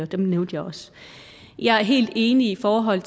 dem nævnte jeg også jeg er helt enig i forhold